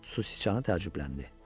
Su siçanı təəccübləndi.